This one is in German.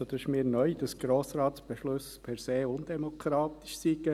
Es ist mir neu, dass Grossratsbeschlüsse per se undemokratisch sein sollen.